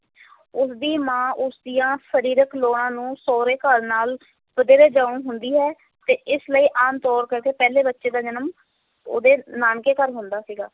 ਉਸ ਦੀ ਮਾਂ ਉਸ ਦੀਆਂ ਸਰੀਰਕ ਲੋੜਾਂ ਨੂੰ ਸਹੁਰੇ ਘਰ ਨਾਲ ਵਧੇਰੇ ਜਾਣੂ ਹੁੰਦੀ ਸੀ ਤੇ ਇਸ ਲਈ ਆਮ ਤੌਰ ਕਰਕੇ ਪਹਿਲੇ ਬੱਚੇ ਦਾ ਜਨਮ ਉਹਦੇ ਨਾਨਕੇ ਘਰ ਹੁੰਦਾ ਸੀਗਾ।